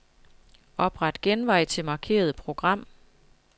Opret genvej til markerede program.